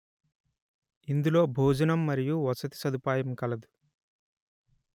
ఇందులో భోజనం మరియు వసతి సదుపాయం కలదు